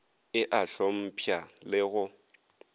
e a hlompšha le go